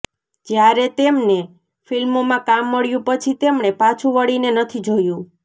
જ્યારે તેમને ફીલ્મોમાં કામ મળ્યું પછી તેમણે પાછું વળીને નથી જોયું